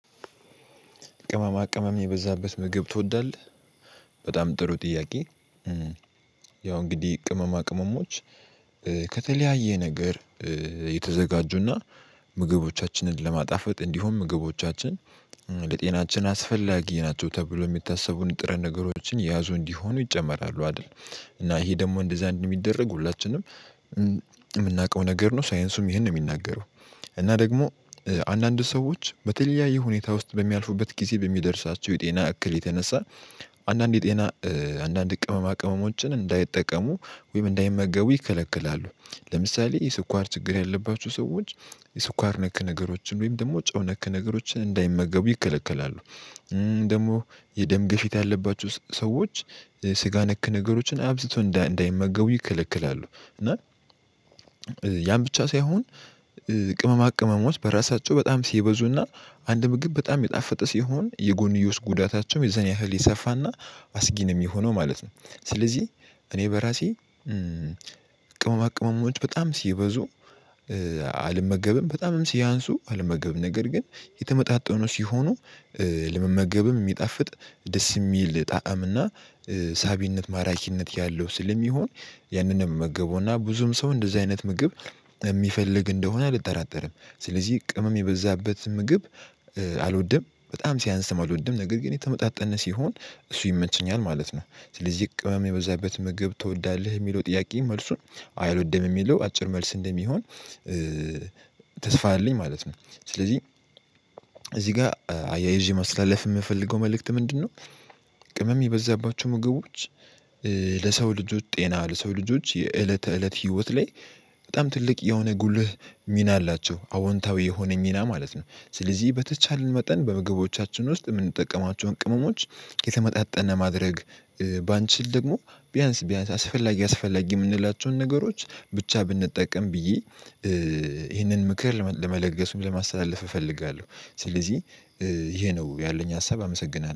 ቅመማ ቅመም የበዛበት ምግብ ትወዳለህ? በጣም ጥሩ ጥያቄ። ያው እንግዲህ ቅመማ ቅመሞች ከተለያየ ነገር የተዘጋጁና ምግቦቻችንን ለማጣፈጥ እንዲሆን ምግቦቻችን ለጤናችን አስፈላጊ ናቸው። ተብሎ የሚታሰቡን ጥረት ነገሮችን የያዙ እንዲሆኑ ይጨመራሉ። አይደል? እና ይሄ ደግሞ እንደዛ አንደ ሚደረግ ሁላችንም የምናውቀው ነገር ነው። ሳይንሱም ይህን ነው የሚናገረው። እና ደግሞ አንዳንድ ሰዎች በተለያዩ ሁኔታ ውስጥ በሚያልፉበት ጊዜ በሚደርሳቸው የጤና እክል የተነሳ አንዳንዴ ጤና አንዳንድ ቅመማ ቅመሞችን እንዳይጠቀሙ ወይም እንዳይመገቡ ይከለክላሉ። ለምሳሌ የስኳር ችግር ያለባችሁ ሰዎች የስኳር ነክ ነገሮችን ወይም ደግሞ ጨው ነክ ነገሮችን እንዳይመገቡ ይከለከላሉ። ደግሞ የደም ግፊት ያለባችሁ ሰዎች ስጋ ነክ ነገሮችን አብዝተው እንዳይመገቡ ይከለክላሉ። እና ያን ብቻ ሳይሆን ቅመማ ቅመሞች በራሳቸው በጣም ሲበዙና አንድ ምግብ በጣም የጣፈጠ ሲሆን የጎንዮስ ጉዳታቸውም የዘኔ ያህል የሰፋና አስጊ ነው የሚሆነው ማለት ነ። ስለዚህ እኔ በራሴ ቅመማ ቅመሞች በጣም ሲበዙ አልመገብም። በጣምም ሲያንሱ አልመገብም። ነገር ግን የተመጣጠኑ ሲሆኑ ለመመገብም የሚጣፍጥ ደስ የሚል ጣዕም እና ሳቢነት ማራኪነት ያለው ስለሚሆን ያንንም ምመገበው እና ብዙም ሰው እንደዚህ አይነት ምግብ የሚፈልግ እንደሆነ አልጠራጠርም። ስለዚህ ቅምም የበዛበት ምግብ አልወድም። በጣም ሲያንስም አልወድም። ነገር ግን የተመጣጠነ ሲሆን እሱ ይመቸኛል። ማለት ነው። ስለዚህ ቅመም የበዛበት ምግብ ትወዳለህ? የሚለው ጥያቄ መልሱን አይለወደም። የሚለው አጭር መልስ እንደሚሆን ተስፋ አለኝ ማለት ነው። ስለዚህ እዚህ ጋር አያይዤ ማስተላለፍ የምፈልገው መልእክት ምንድነው? ቅምም የበዛባቸው ምግቦች ለሰው ልጆች ጤና ለሰው ልጆች የእለተ ተእለት ህይወት ላይ በጣም ትልቅ የሆነ ጉልህ ሚና አላቸው። አዎንታዊ የሆነ ሚና ማለት ነው። ስለዚህ በተቻለን መጠን በምግቦቻችን ውስጥ የምንጠቀማቸውን ቅመሞች የተመጣጠነ ማድረግ ባንችል ደግሞ ቢያንስ ቢያንስ አስፈላጊ የምንላቸውን ነገሮች ብቻ ብንጠቀም ብዬ ይህንን ምክር ለመለገስ ለማስተላለፍ እፈልጋለሁ። ስለዚህ ይሄ ነው ያለኝ ሀሳብ አመሰግናለሁ።